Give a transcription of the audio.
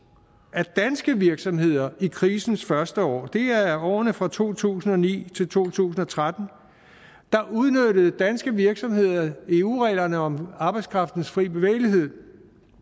af danske virksomheder i krisens første år det er årene fra to tusind og ni til to tusind og tretten der udnyttede danske virksomheder eu reglerne om arbejdskraftens frie bevægelighed